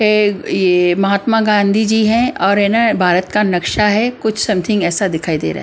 ये महात्मा गांधीजी है और ये न भारत का नक्शा है कुछ समथिंग ऐसा दिखाई दे रहा--